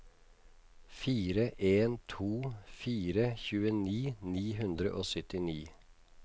fire en to fire tjueni ni hundre og syttini